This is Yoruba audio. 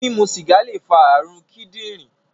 Mimu sìgá lè fa ààrùn kíndìnrín